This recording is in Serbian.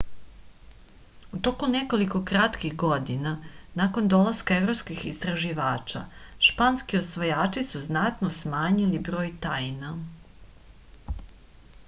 u toku nekoliko kratkih godina nakon dolaska evropskih istraživača španski osvajači su značajno smanjili broj taina